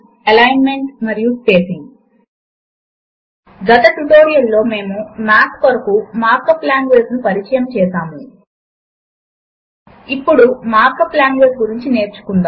formula editor ను వాడి math ను వినియోగించడము కొరకు సిస్టమ్ లో ఉండవలసినవి ఒక తేలికైన సూత్రమును వ్రాయడము లెక్కల సూత్రములను క్రియేట్ చేయడము మరియు ఎడిట్ చేయడముల కొరకు తయారు చేయబడిన ఒక సాఫ్ట్ వేర్